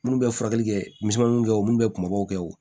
Minnu bɛ furakɛli kɛ misemannin kɛ o minnu bɛ kunbaw kɛ o